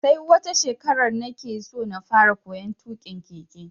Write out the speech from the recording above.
Sai wata shekara nake so na fara koyon tuƙin keke.